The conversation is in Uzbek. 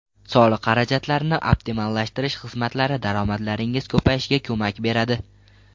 Soliq xarajatlarini optimallashtirish xizmatlari daromadlaringiz ko‘payishiga ko‘mak beradi.